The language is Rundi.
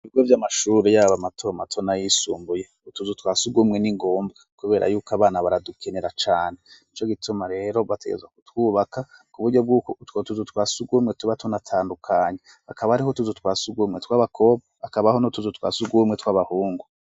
Ibigo vy'amashuri y'aba mato mato nayisumbuye, utuzu twa sugumwe n'ingombwa kubera yuko abana baradukenera cane. Nico gituma rero bategerezwa kutwubaka ku buryo bw'uko utwo tuzu twa surwumwe tuba tunatandukanye. Akaba hariho utuzu twa surwumwe tw'abakobwa, hakabaho n' utuzu twa surwumwe tw'abahungu.